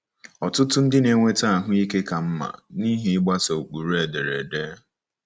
Ọtụtụ ndị na-enweta ahụ ike ka mma n'ihi ịgbaso ụkpụrụ ederede.